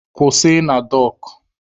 Kwụsị na dọọkụ!